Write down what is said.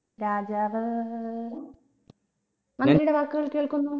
രാജാവ് മന്ത്രിയുടെ വാക്കുകൾ കേൾക്കുന്നു